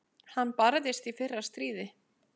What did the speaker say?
Hann barðist í fyrra stríði.